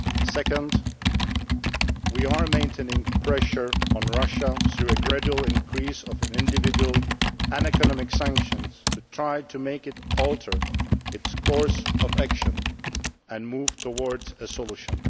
Secondly, we are maintaining pressure on Russia through a gradual increase of individual and economic sanctions to try to make it alter its course of action and move towards a solution.